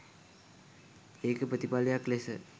ඒකෙ ප්‍රතිඵලයක් ලෙස